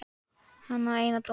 Hann á eina dóttur.